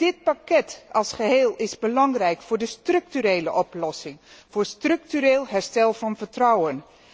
Dit pakket als geheel is belangrijk voor de structurele oplossing, voor structureel herstel van vertrouwen.